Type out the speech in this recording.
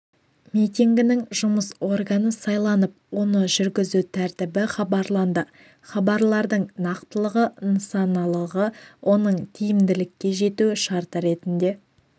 митингінің жұмыс органы сайланып оны жүргізу тәртібі хабарланды хабарлардың нақтылығы нысаналылығы оның тиімділікке жету шарты ретінде